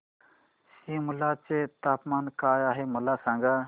सिमला चे तापमान काय आहे मला सांगा